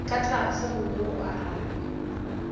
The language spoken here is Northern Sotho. ka tlase gomme o arabe